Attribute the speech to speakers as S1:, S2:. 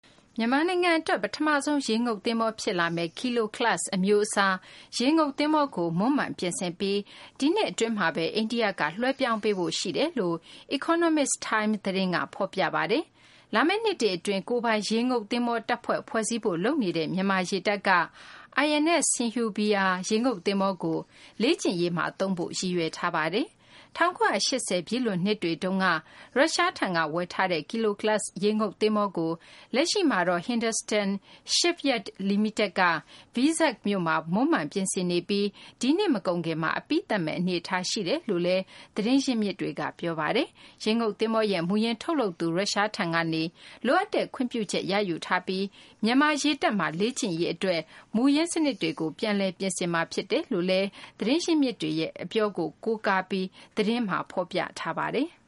S1: မြန်မာနိုင်ငံ အတွက် ပထမဆုံး ရေငုပ်သဘောၤ ဖြစ်လာမယ့် ဒီဇယ်နဲ့ လျှပ်စစ်ဓါတ်အားသုံး Kilo class အမျိုးအစား ရေငုပ်သဘောၤကို မွမ်းမံပြင်ဆင်ပြီး ဒီနှစ် အတွင်းမှာဘဲ အိန္ဒိယက လွှဲပြောင်းပေးဖို့ ရှိတယ်လို့ Economic Times သတင်းက ဖော်ပြပါတယ်။ လာမယ့် နှစ်တွေ အတွင်း ကိုယ်ပိုင်ရေငုပ်သဘောၤ တပ်ဖွဲ့ ဖွဲ့စည်းဖို့ လုပ်နေတဲ့ မြန်မာ့ ရေတပ်က INS Sindhuvir ရေငုပ်သဘောၤကို လေ့ကျင့်ရေးမှာ သုံးဖို့ ရည်ရွယ်ထားပါတယ်။ ၁၉၈၀ ပြည့်လွန်နှစ်တွေတုန်းက ရုရှားထံက ဝယ်ထားတဲ့ Kilo class ရေငုပ်သဘောၤကို လက်ရှိမှာတော့ Hindustan Shipyard လီမိတက်က Vizag မြို့မှာ မွမ်းမံ ပြင်ဆင်နေပြီး ဒီနှစ် မကုန်ခင်မှာ အပြီးသတ်မယ့် အနေအထား ရှိတယ်လို့လည်း သတင်းရင်းမြစ်တွေက ပြောပါတယ်။ ရေငုပ် သဘောၤရဲ့ မူရင်းထုတ်လုပ်သူ ရုရှားထံကနေ လိုအပ်တဲ့ ခွင့်ပြုချက် ရယူထားပြီး မြန်မာ ရေတပ်မှာ လေ့ကျင့်ရေး အတွက် မူရင်းစနစ်တွေကို ပြန်လည် ပြင်ဆင်မှာ ဖြစ်တယ်လို့လည်း သတင်းရင်းမြစ်တွေရဲ့ အပြောကို ကိုးကားပြီး သတင်းမှာ ဖော်ပြထား
S2: ပါတယ်။